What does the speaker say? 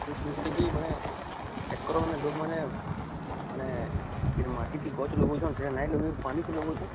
ମୁଇଁ ଶୁଣିଥିଲି କି ମାନେ ଏକର ମାନେ ଲୋକ ମାନେ ମାନେ େ ମାଟି ଟି ଗଛ ଲଗାଉଚନ